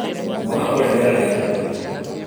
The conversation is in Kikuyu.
Mwana ũrĩa nĩarĩraga mũno.